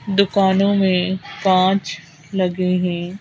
दुकानों में कांच लगे हैं।